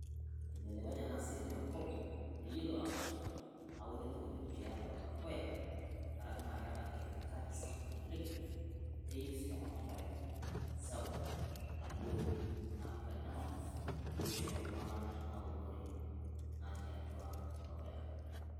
Ebelekenya ena siai te nkop ye yellow house aunii ntokitin teatu olkuyaa. Nkarakii na keeta kemikali sapuk oleng neyeu si eramatare sapuk nailoo. Naa ketanyamal mbiirisho oltunga'anak tenaa eunore natii atua dukuya.